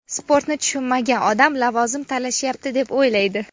Sportni tushunmagan odam lavozim talashyapti, deb o‘ylaydi.